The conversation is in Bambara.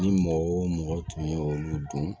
Ni mɔgɔ wo mɔgɔ tun ye olu dun